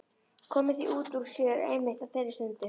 Komið því út úr sér einmitt á þeirri stundu.